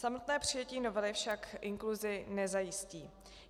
Samotné přijetí novely však inkluzi nezajistí.